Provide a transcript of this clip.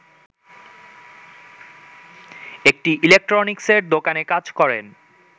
একটি ইলেকট্রনিক্সের দোকানে কাজ করেন